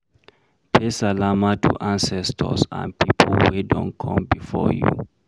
Pay salama to ancestors and pipo wey done come before you